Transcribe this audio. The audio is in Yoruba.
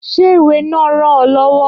Ṣé ìwé náà ràn ọ lọ́wọ́?